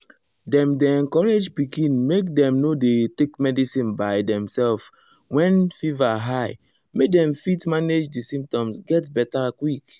dem dey encourage pikin make dem no dey take medicine by demself when fever high make dem fit manage di symptoms get beta quick.